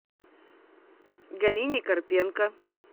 галине карпенко